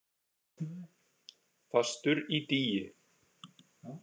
Fastur í dýi.